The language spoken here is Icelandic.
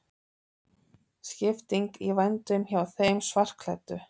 Skipting í vændum hjá þeim svartklæddu.